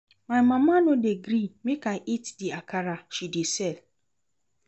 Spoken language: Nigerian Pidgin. My mama no dey gree make I eat the akara she dey sell